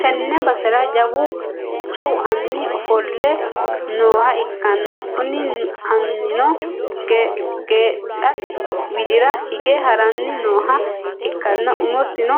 tenne basera jawu anni ofolle nooha ikkanna, kuni annino geedhate widi'ra hige ha'ranni nooha ikkanna, umosino